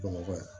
Bamakɔ yan